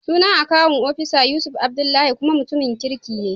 Sunan akawun ofisana Yusuf Adlbdullahi, kuma mutumin kirki ne.